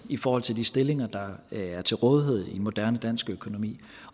i forhold til de stillinger der er til rådighed i moderne dansk økonomi